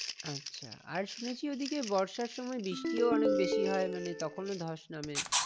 আচ্ছা আর শুনেছি ওইদিকে বর্ষার সময় বৃষ্টিও অনেক বেশি হয় মানে তখনও ধস নামে?